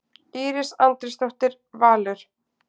Íris Andrésdóttir, Valur.